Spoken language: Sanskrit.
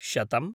शतम्